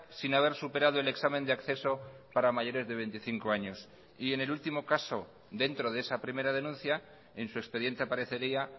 sin haber superado el examen de acceso para mayores de veinticinco años y en el último caso dentro de esa primera denuncia en su expediente aparecería